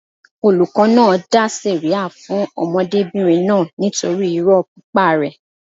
Olùkọ́ náà dá sẹ̀ríà fún ọmọdébìnrin náà nítorí irọ́ pípa rẹ̀.